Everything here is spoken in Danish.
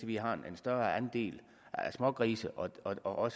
vi har en større andel af smågrise og